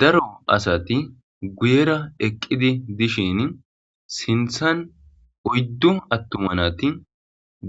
Daro asati guyera eqqidi dishin sinthan oyddu attumanati